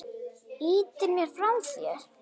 Ýtir mér frá þér.